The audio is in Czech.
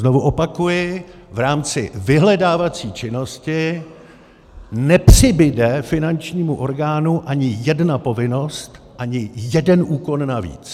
Znovu opakuji, v rámci vyhledávací činnosti nepřibude finančnímu orgánu ani jedna povinnost, ani jeden úkon navíc.